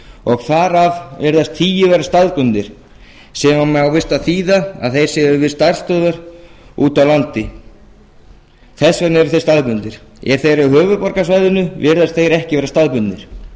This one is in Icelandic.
og þar af virðast tíu vera staðbundnir sem á víst að þýða að þeir séu við starfsstöðvar úti í á landi þess vegna eru þeir staðbundnir ef þeir eru á höfuðborgarsvæðinu virðast þeir ekki vera staðbundnir